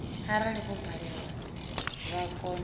arali vho balelwa vha kona